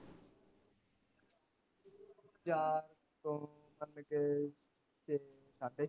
ਚਾਰ ਤੋਂ ਵੱਜ ਕੇ ਛੇ ਸਾਢੇ ਛੇ